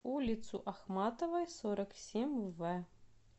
улицу ахматовой сорок семь в